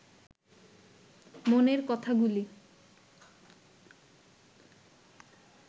মনের কথাগুলি